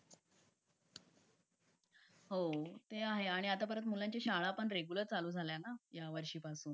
हो ते आहे आणि आता परत मुलांची शाळा पण रेगुलार चालू झाली ना यावर्शी परत